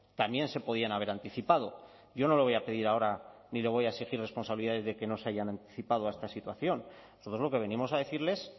también se podían haber anticipado yo no le voy a pedir ahora ni le voy a exigir responsabilidades de que no se hayan anticipado a esta situación nosotros lo que venimos a decirles